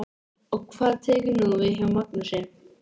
Og hvað tekur nú við hjá Magnúsi?